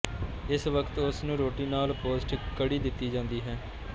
ਇਸ ਵਕਤ ਉਸਨੂੰ ਰੋਟੀ ਨਾਲ ਪੌਸ਼ਟਿਕ ਕੜ੍ਹੀ ਦਿੱਤੀ ਜਾਂਦੀ ਹੈ